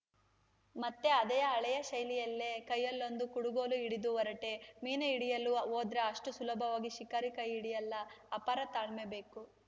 ಮತ್ತೆ ಅದೇ ಹಳೆಯ ಶೈಲಿಯಲ್ಲೇ ಕೈಯಲ್ಲೊಂದು ಕುಡುಗೋಲು ಹಿಡಿದು ಹೊರಟೆ ಮೀನು ಹಿಡಿಯಲು ಹೋದ್ರೆ ಅಷ್ಟುಸುಲಭವಾಗಿ ಶಿಕಾರಿ ಕೈ ಹಿಡಿಯಲ್ಲ ಅಪಾರ ತಾಳ್ಮೆ ಬೇಕು